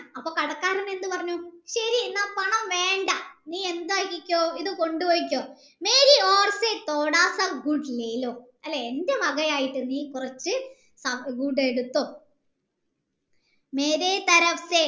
അപ്പൊ കടക്കാരൻ പറഞ്ഞു ശെരി പണം വേണ്ട എന്താക്കിക്കോ നീ ഇത് കൊണ്ടോയ്ക്കോ അല്ലെ എൻ്റെ വകയായിട്ട് നീ കൊറച്ചു എടുത്തോ